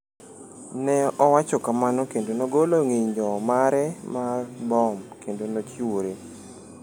Ne owacho kamano kendo nogolo ng’injo mare mar bom kendo nochiwore.